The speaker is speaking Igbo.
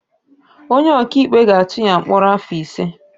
Onye ọkaikpe ga-atụ ya mkpọrọ afọ ise.